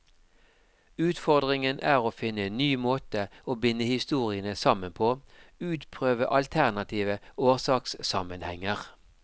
Utfordringen er å finne en ny måte å binde historiene sammen på, utprøve alternative årsakssammenhenger.